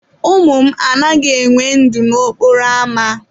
Ụmụ m agaghị enwe ndụ n'okporo ámá.